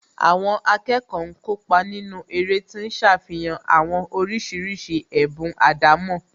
Àwọn akẹ́kọ̀ọ́ ń kópa nínú eré tí ń ṣàfihàn àwọn oríṣiríṣi ẹ̀bùn àdámọ́